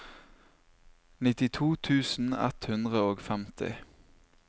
nittito tusen ett hundre og femti